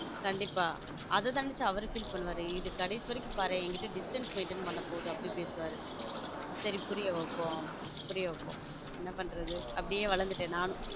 கண்டிப்பா அத நெனச்சா அவர் feel பண்ணுவாரு கடைசி வரைக்கும் பாரு என்கிட்ட distance maintain பண்ண போது அப்படி பேசுவார் சரி புரிய வைப்போம் புரிய வைப்போம் என்ன பண்றது அப்படியே வளத்துடன் நானும்.